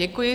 Děkuji.